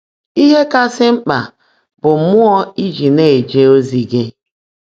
Íhe kàsị́ mkpã bụ́ mmụọ́ ị́ jị́ ná-èje ózí gị́.